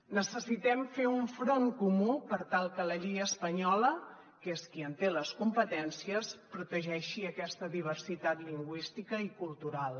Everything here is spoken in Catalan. necessitem fer un front comú per tal que la llei espanyola que és qui en té les competències protegeixi aquesta diversitat lingüística i cultural